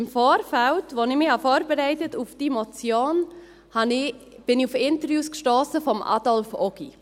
Im Vorfeld, als ich mich für die Motion vorbereitete, stiess ich auf Interviews mit Adolf Ogi.